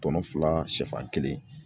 Tɔnɔ fila siyɛfan kelen.